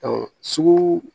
Ɔ sugu